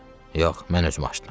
Yox, mən özüm açdım.